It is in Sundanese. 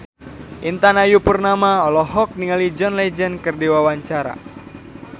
Intan Ayu Purnama olohok ningali John Legend keur diwawancara